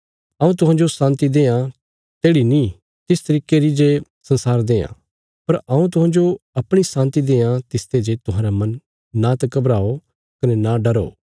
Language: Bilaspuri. हऊँ तुहांजो शान्ति देआं तेढ़ी नीं तिस तरिके री जे संसार देआं पर हऊँ तुहांजो अपणी शान्ति देआं तिसते जे तुहांरा मन नांत घबराओ कने न डरो